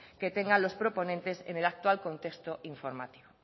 que tengan los proponentes en el actual contexto informativo